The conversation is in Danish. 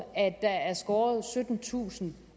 at der er skåret syttentusind